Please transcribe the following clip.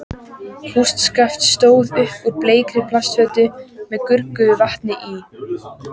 Kústskaft stóð upp úr bleikri plastfötu með gruggugu vatni í.